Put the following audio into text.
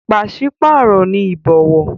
Pàṣípàrọ̀ ni ìbọ̀wọ̀.